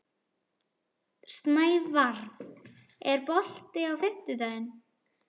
Snævarr, er bolti á fimmtudaginn?